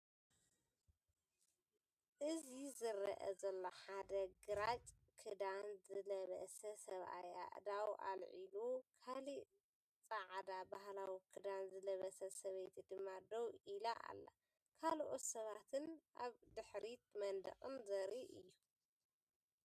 እዚ ዝረአ ዘሎ ሓደ ግራጭ ክዳን ዝለበሰ ሰብኣይ ኣእዳዉ ኣልዒሉ፡ ካልእ ጻዕዳ ባህላዊ ክዳን ዝለበሰት ሰበይቲ ድማ ደው ኢላ ኣላ፡ ካልኦት ሰባትን ኣብ ድሕሪት መንደቕን ዘርኢ'ዩ።